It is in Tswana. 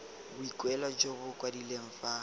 boikuelo jo bo kwadilweng fa